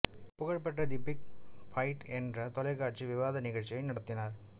புகழ்பெற்ற the big fight என்ற தொலைக்காட்சி விவாத நிகழ்ச்சியை நடத்தினார்